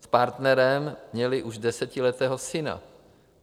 S partnerem měli už desetiletého syna.